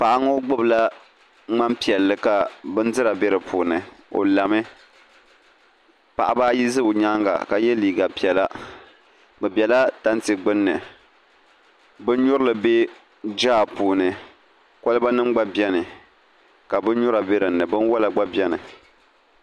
paɣa ŋɔ gbibila ŋman'piɛlli ka bindira be di puuni o la mi paɣiba yi za o nyaaŋa ka ye neen'piɛlla bɛ bela tanti gbunni binnyurili be jaa puuni kɔlibanima gba beni ka binnyura be di ni binwala gba beni